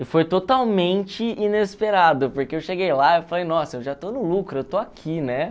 E foi totalmente inesperado, porque eu cheguei lá eu falei, nossa, eu já estou no lucro, eu estou aqui, né?